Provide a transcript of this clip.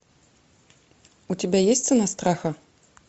у тебя есть цена страха